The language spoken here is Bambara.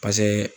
Paseke